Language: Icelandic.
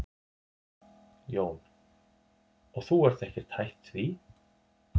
Jón: Og þú ert ekkert hætt því?